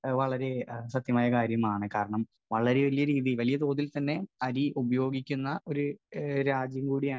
Speaker 1 വളരെ സത്യമായ കാര്യമാണ്. കാരണം വളരെ വലിയ രീതിയിൽ വലിയ തോതിൽ തന്നെ അരി ഉപയോഗിക്കുന്ന ഒരു രാജ്യം കൂടി ആണ്